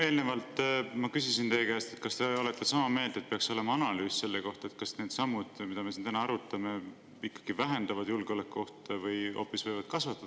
Eelnevalt ma küsisin teie käest, kas te olete sama meelt, et peaks olema analüüs selle kohta, kas need sammud, mida me siin täna arutame, ikkagi vähendavad julgeolekuohte või hoopis võivad neid kasvatada.